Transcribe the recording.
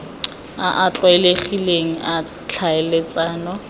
a a tlwaelegileng a tlhaeletsano